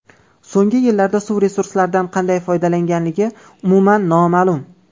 So‘nggi yillarda suv resurslaridan qanday foydalanilganligi umuman noma’lum.